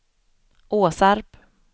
Åsarp